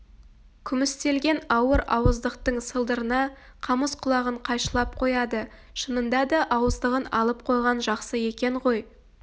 күмістелген ауыр ауыздықтың сылдырына қамыс құлағын қайшылап қояды шынында да ауыздығын алып қойған жақсы екен ғой